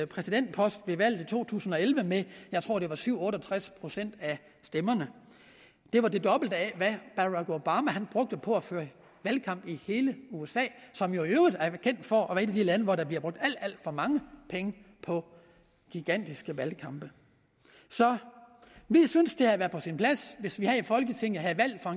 præsidentpost ved valget i to tusind og elleve med jeg tror at det var syv otte og tres procent af stemmerne det var det dobbelt af hvad barack obama brugte på at føre valgkamp i hele usa som i øvrigt er kendt for at af de lande hvor der bliver brugt alt alt for mange penge på gigantiske valgkampe så vi synes at det havde været på sin plads hvis vi her i folketinget havde valgt for